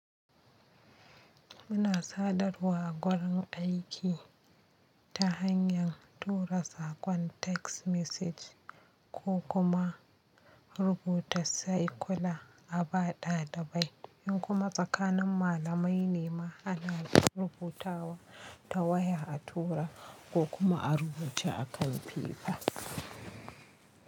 Muna sadarwa a wurin aiki ta hanyar tura saƙon text message ko kuma rubuta saikula a baɗa da bai. In kuma tsakanin malamai ne ma ana rubutawa ta waya a tura ko kuma a rubuce a kan fefa.